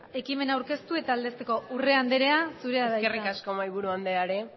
ekimena aurkeztu eta aldezteko urrea andrea zurea da hitza eskerrik asko mahaiburu andreare x